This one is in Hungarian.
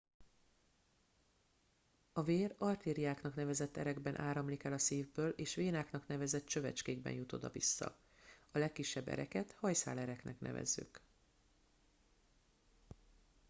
a vér artériáknak nevezett erekben áramlik el a szívből és vénáknak nevezett csövecskékben jut oda vissza a legkisebb ereket hajszálereknek nevezzük